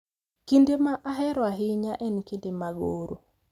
Kinde ma ahero ahinya en kinde mag oro.